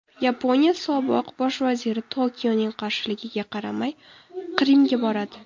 Yaponiya sobiq bosh vaziri Tokioning qarshiligiga qaramay Qrimga boradi.